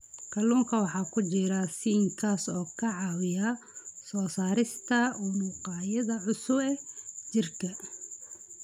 Kalluunka waxaa ku jira zinc, kaas oo ka caawiya soo saarista unugyada cusub ee jirka.